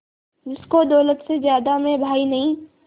जिसको दौलत से ज्यादा मैं भाई नहीं